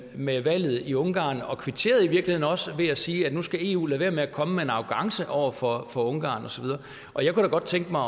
med valget i ungarn og kvitterede i virkeligheden også med at sige at nu skal eu lade være med at komme med en arrogance over for for ungarn og så videre og jeg kunne da godt tænke mig